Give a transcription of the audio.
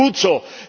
Das ist gut so.